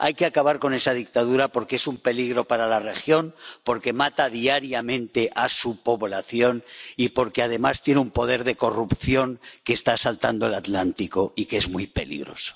Hay que acabar con esa dictadura porque es un peligro para la región, porque mata diariamente a su población y porque además tiene un poder de corrupción que está saltando el Atlántico y que es muy peligroso.